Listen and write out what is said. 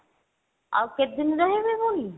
ଆଉ କେତେଦିନ ରହିବେ ପୁଣି?